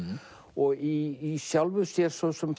og í sjálfu sér svo sem